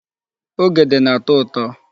Ogede na-atọ ụtọ.